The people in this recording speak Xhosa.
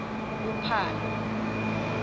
uphalo